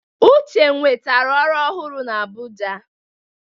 Uche nwetara ọrụ ọhụrụ na Abuja